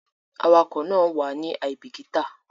Awakọ̀ náà wàá ní àìbíkítà